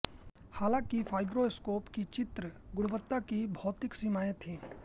हालांकि फाइब्रोस्कोप की चित्र गुणवत्ता की भौतिक सीमाएं थीं